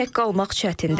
Tək qalmaq çətindir.